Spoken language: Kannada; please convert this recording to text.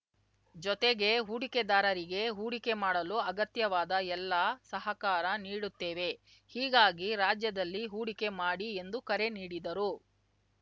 ಜೊತೆಗೆ ಹೂಡಿಕೆದಾರರಿಗೆ ಹೂಡಿಕೆ ಮಾಡಲು ಅಗತ್ಯವಾದ ಎಲ್ಲಾ ಸಹಕಾರ ನೀಡುತ್ತೇವೆ ಹೀಗಾಗಿ ರಾಜ್ಯದಲ್ಲಿ ಹೂಡಿಕೆ ಮಾಡಿ ಎಂದು ಕರೆ ನೀಡಿದರು